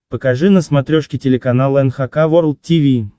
покажи на смотрешке телеканал эн эйч кей волд ти ви